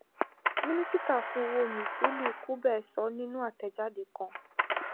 minisita fun owo mthuli ncube sọ ninu atẹjade kan